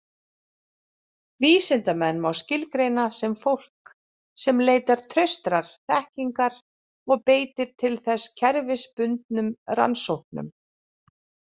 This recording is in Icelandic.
Vísindamenn má skilgreina sem fólk sem leitar traustrar þekkingar og beitir til þess kerfisbundnum rannsóknum.